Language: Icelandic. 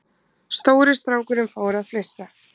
Stóri strákurinn fór að flissa.